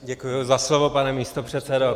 Děkuji za slovo, pane místopředsedo.